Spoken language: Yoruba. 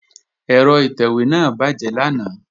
Ẹ̀rọ ìtẹ̀wé náà bàjẹ́ lánàá